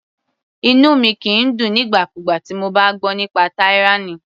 Inú mi kìí dùn nígbà kúgbà tí mo bá gbọ́ nípa tyranny.